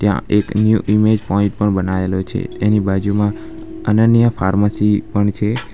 ત્યાં એક new image point પણ બનાવેલો છે એની બાજુમાં અનન્યા ફાર્મસી પણ છે.